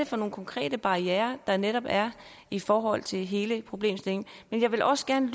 for nogle konkrete barrierer der netop er i forhold til hele problemstillingen men jeg vil også gerne